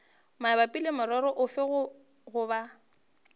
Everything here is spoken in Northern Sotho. mabapi le morero ofe goba